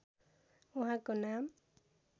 उहाँको नाम